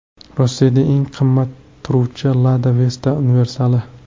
Rossiyada eng qimmat turuvchi Lada Vesta universali.